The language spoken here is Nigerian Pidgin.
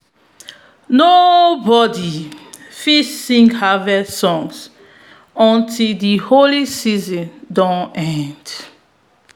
nobody fit sing harvest songs until the holy season don end.